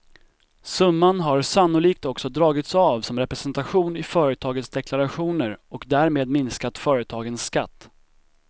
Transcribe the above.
Summan har sannolikt också dragits av som representation i företagens deklarationer och därmed minskat företagens skatt.